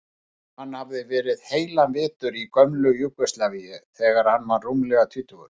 Hann hafði verið heilan vetur í gömlu Júgóslavíu þegar hann var rúmlega tvítugur.